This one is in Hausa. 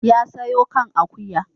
Ya soya kan akuya.